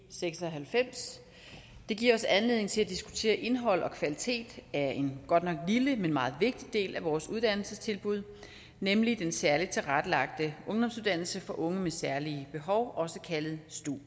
seks og halvfems det giver os anledning til at diskutere indhold og kvalitet af en godt nok lille men meget vigtig del af vores uddannelsestilbud nemlig den særligt tilrettelagte ungdomsuddannelse for unge med særlige behov også kaldet stu